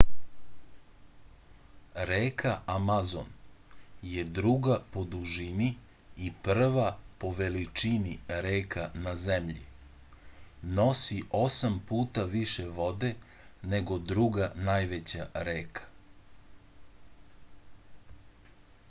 reka amazon je druga po dužini i prva po veličini reka na zemlji nosi 8 puta više vode nego druga najveća reka